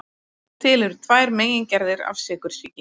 Til eru tvær megingerðir af sykursýki.